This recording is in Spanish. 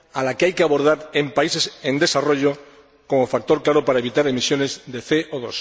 que hay que abordar en países en desarrollo como factor claro para evitar emisiones de CO